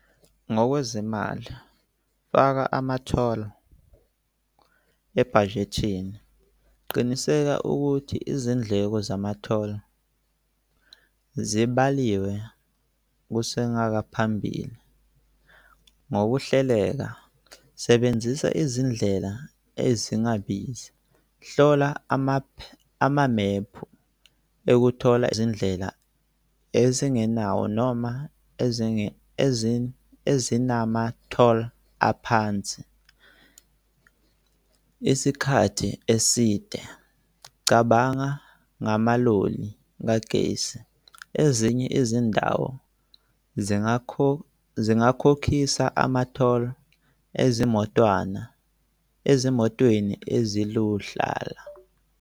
Ngokwezimali, faka ama-toll ebhajethini. Qiniseka ukuthi izindleko zama-toll zibaliwe kusengaba phambili ngokuhleka. Sebenzisa izindlela ezingabizi. Hlola amamephu ukuthola izindlela ezingenawo noma ezinama-toll aphansi isikhathi eside. Cabanga ngamaloli kagesi. Ezinye izindawo zingakhokhisa ama-toll ezimotwana, ezimotweni eziluhlala.